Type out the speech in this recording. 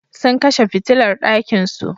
Sun kashe fitilar ɗakinsu.